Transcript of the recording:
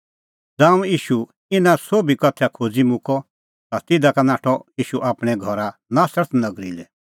ज़ांऊं ईशू इना सोभी उदाहरणा खोज़ी मुक्कअ ता तिधा का नाठअ ईशू आपणैं घर नासरत नगरी लै